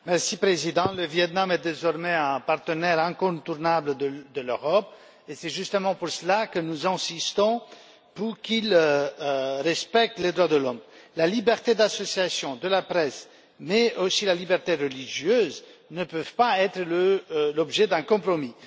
Monsieur le Président, le Viêt Nam est désormais un partenaire incontournable de l'Europe et c'est justement pour cela que nous insistons pour qu'il respecte les droits de l'homme. La liberté d'association et de la presse, mais aussi la liberté religieuse, ne peuvent pas être l'objet d'un compromis.